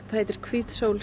heitir hvít sól